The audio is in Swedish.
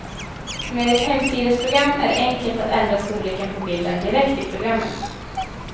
Med ett hemsidesprogram är det enkelt att ändra storleken på bilden direkt i programmet.